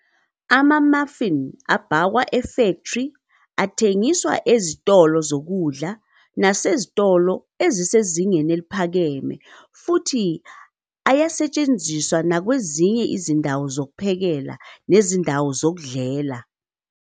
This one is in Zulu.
Ama-muffin abhakwa efektri athengiswa ezitolo zokudla nasezitolo ezisezingeni eliphakeme futhi ayasetshenzwa nakwezinye izindawo zokuphekela nezindawo zokudlela.